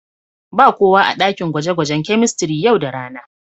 Ba kowa a daƙin gwaje-gwajen kemistiri yau da rana.